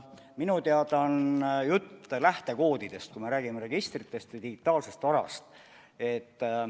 Minu teada on jutt lähtekoodidest, kui me räägime registritest või digitaalsest varast.